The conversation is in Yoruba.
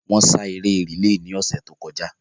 Wọ́n sá eré rìlé ni ọ̀sẹ̀ tó kọjá